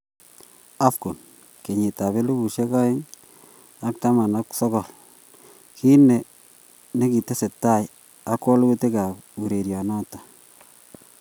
AFCON KENYITAB ELEBU OENG AK TAMAN AK SOKOL:kit ne tesetai ak walutik urerionoto